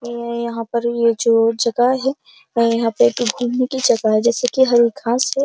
ये यहाँ पर ये जो जगह है। यहाँ पे घूमने की जगह है जैसे कि हरी घांस है।